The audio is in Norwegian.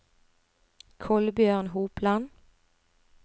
Kolbjørn Hopland